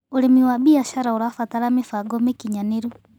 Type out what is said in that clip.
Ũrĩmĩ wa bĩashara ũrabatara mĩbango mĩkĩnyanĩrũ